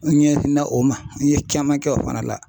N ɲɛna o ma n ye caman kɛ o fana la